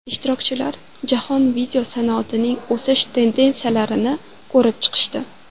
Ishtirokchilar jahon video sanoatining o‘sish tendensiyalarini ko‘rib chiqishdi.